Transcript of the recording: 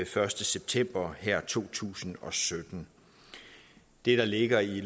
første september to tusind og sytten det der ligger i